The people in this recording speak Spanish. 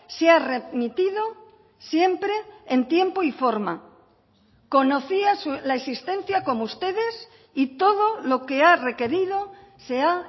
se ha remitido siempre en tiempo y forma conocía la existencia como ustedes y todo lo que ha requerido se ha